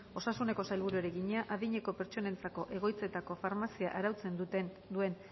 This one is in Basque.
osasuneko sailburuari egina adineko pertsonentzako egoitzetako farmazia arautzen duen